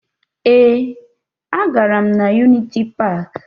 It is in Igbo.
Ee, agara m na Yuniti Paakị